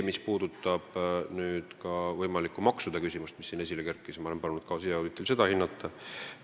Mis puudutab võimalikku maksude küsimust, mis siin esile kerkis, siis ma olen palunud siseauditi tegijatel ka seda hinnata.